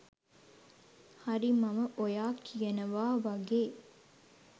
හරි මම ඔයා කියනවා වගේ